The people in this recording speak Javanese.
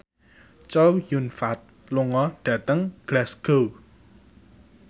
Chow Yun Fat lunga dhateng Glasgow